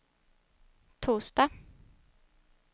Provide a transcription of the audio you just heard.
torsdag